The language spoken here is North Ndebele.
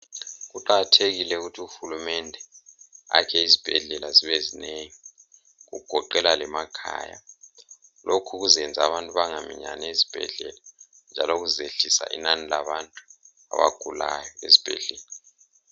Kuqakathekile ukuthi uHulumende akhe izibhedlela zibe zinengi, kugoqela lemakhaya . Lokhu kuzayenza abantu bengaminyani ezibhedlela. Njalo kuzayehlisa inani labantu abagulayo ezibhedlela.